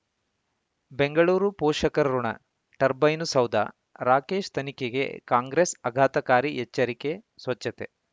ಬೆಂಗಳೂರು ಪೋಷಕರಋಣ ಟರ್ಬೈನು ಸೌಧ ರಾಕೇಶ್ ತನಿಖೆಗೆ ಕಾಂಗ್ರೆಸ್ ಆಘಾತಕಾರಿ ಎಚ್ಚರಿಕೆ ಸ್ವಚ್ಛತೆ